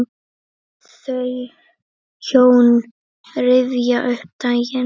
Þau hjón rifja upp daginn.